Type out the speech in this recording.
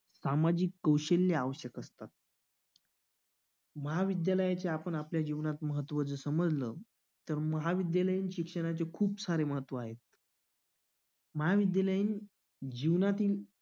सामाजिक कौशल्य आवश्यक असतात. महाविद्यालयाचे जर आपण आपल्या जीवनात महत्वाचा समजला तर महाविद्यालयीन शिक्षणाची खूप सारे महत्त्व आहे महाविद्यालयीन जीवनातील